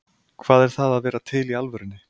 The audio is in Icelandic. Hvað er það að vera til í alvörunni?